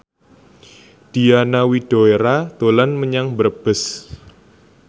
Diana Widoera dolan menyang Brebes